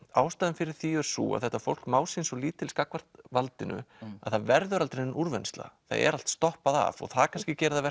ástæðan fyrir því er sú að þetta fólk má sín svo lítils gagnvart valdinu að það verður aldrei nein úrvinnsla það er allt stoppað af og það kannski gerir það